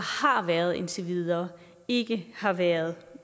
har været indtil videre ikke har været